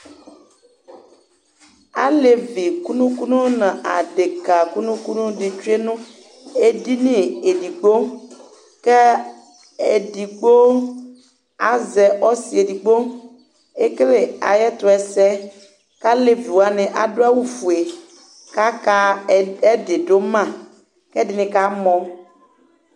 Alevi kunu kunu adeka kunu kunu du edini edigbo ku edigbo azɛ ɔsiedigbo ekele ayɛtuɛsɛ ku alevi wani adu awu ofue kaka ɛdi duma ɛdini kamɔ